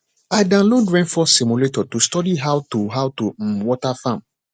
i download rainfall simulator to study how to how to um water farm